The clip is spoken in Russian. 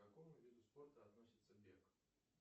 к какому виду спорта относится бег